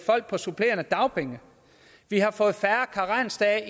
folk på supplerende dagpenge vi har fået færre karensdage